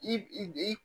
I